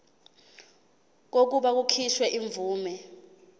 kokuba kukhishwe imvume